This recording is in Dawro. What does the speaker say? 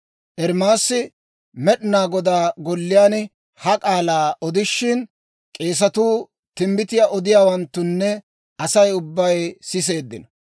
Ermaasi Med'inaa Godaa Golliyaan ha k'aalaa odishin, k'eesatuu, timbbitiyaa odiyaawanttunne Asay ubbay siseeddino.